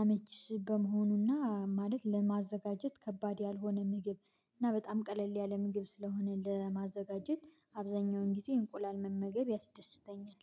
አመች በመሆኑና ማለት ለማዘጋጀት ከባድ ያልሆነ ምግብ እና በጣም ቀለል ያለ ምግብ ስለሆነ ለማዘጋጀት አብዛኛውን ጊዜ እንቁላል መመገብ ያስደስተኛል